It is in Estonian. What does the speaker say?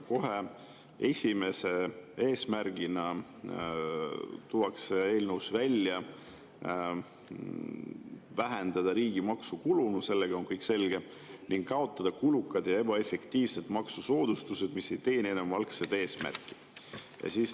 Kohe esimese eesmärgina tuuakse eelnõus välja: vähendada riigi maksukulu – sellega on kõik selge – ning kaotada kulukad ja ebaefektiivsed maksusoodustused, mis ei teeni enam algset eesmärki.